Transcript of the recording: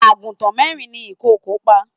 Àgùntàn mẹ́rin ni ìkòkò pa.